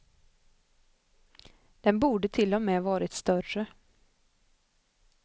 Den borde till och med varit större.